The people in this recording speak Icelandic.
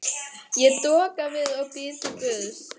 Ég doka við og bið til guðs.